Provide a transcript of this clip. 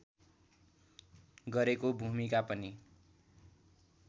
गरेको भूमिका पनि